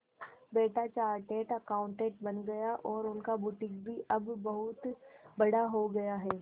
बेटा chartered accountant बन गया और उनका बुटीक भी अब बहुत बड़ा हो गया है